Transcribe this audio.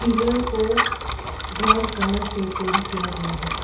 घर को brown colour से पेंट किया गया है।